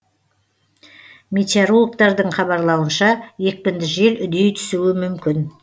метеорологтардың хабарлауынша екпінді жел үдей түсуі мүмкін